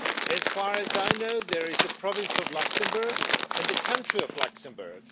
As far as I know, there is a province of Luxembourg and the country of Luxembourg.